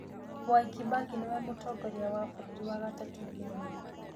Mwai Kĩbakĩ nĩwe mũtongoria wa bũrũri wa gatatũ Kenya